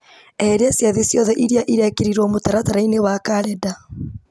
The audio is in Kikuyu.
eheria ciathĩ ciothe iria irekĩrirwo mũtaratara-inĩ thĩinĩ wa karenda